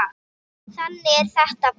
Þannig er þetta bara.